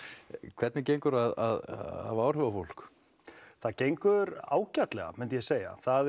hvernig gengur að hafa áhrif á fólk það gengur ágætlega myndi ég segja